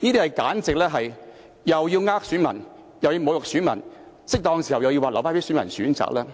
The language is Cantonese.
這簡直是又要欺騙選民，又要侮辱選民，在適當時候又說要留待選民選擇，